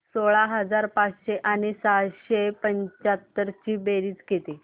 सोळा हजार पाचशे आणि सहाशे पंच्याहत्तर ची बेरीज किती